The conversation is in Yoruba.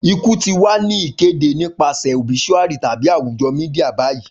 Iku ti wa ni kede nipasẹ obisuari tabi awujo media bayi.